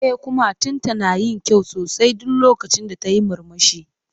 E, kumatunta na yin kyau sosai duk lokacin da tayi murmushi.